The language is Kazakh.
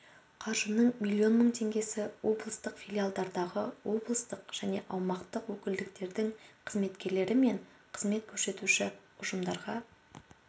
қаржының миллион мың теңгесі облыстық филиалдардағы облыстық және аумақтық өкілдіктердің қызметкерлері мен қызмет көрсетуші ұжымдарға